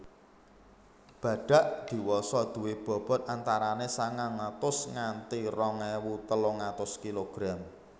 Badhak diwasa duwé bobot antarané sangang atus nganti rong ewu telung atus kilogram